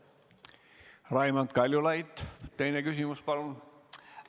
Raimond Kaljulaid, teine küsimus, palun!